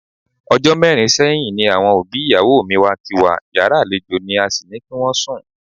O̩jó̩ mé̩rin sé̩yìn ni àwo̩n òbí ìyàwó mi wá kí wa, yàrá àlejò ní a sì ní kí wó̩n sùn.